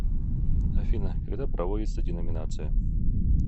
афина когда проводится деноминация